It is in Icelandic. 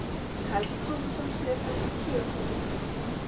Helgi Konráðsson, síðar prestur á Sauðárkróki.